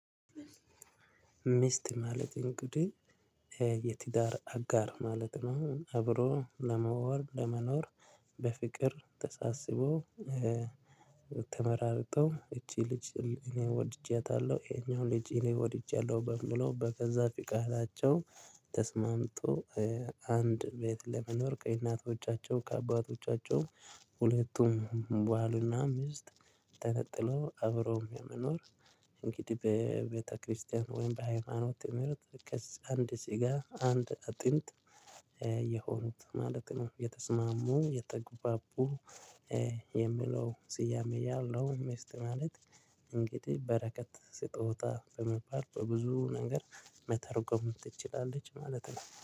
ሚስት ማለት እንግዲህ የትዳር አጋር ማለት ነው። አብሮ ለመወር ለመኖር በፍቅር ተሳስቦ። ተመራርጠው እቺ ልጅ እኔ ወድጄያታለሁ ይሄኛው ልጅ እኔ ወድጃለሁ በሚለው በገዛ ፍቃዳቸው። አንድ ቤት ለመኖር ከእናቶቻቸው ከአባቶቻቸው። ሁለቱም ባል እና ሚስት ተነጥለው አብረው ለመኖር። እንግዲህ በቤተክርስቲያን ወይም በሃይማኖት ትምህርት ከአንድ ስጋ አንድ አጥንት የሆኑት ማለት ነው። የተስማሙ የተግባቡ። የሚለው ስያሜ ያለው ሚስት ማለት። እንግዲህ በረከት ስጦታ በመባል በብዙ ነገር መተርጎም ትችላለች ማለት ነው